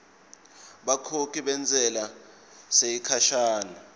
bakhokhi bentsela yesikhashana